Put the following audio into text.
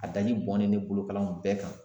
A daji bɔnnen bɛ bolokalan in bɛɛ kan.